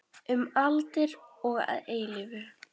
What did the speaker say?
Um aldir og að eilífu.